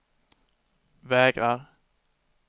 vägrar